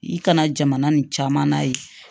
I kana jamana nin caman na ye